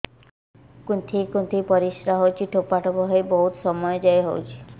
କୁନ୍ଥେଇ କୁନ୍ଥେଇ ପରିଶ୍ରା ହଉଛି ଠୋପା ଠୋପା ହେଇ ବହୁତ ସମୟ ଯାଏ ହଉଛି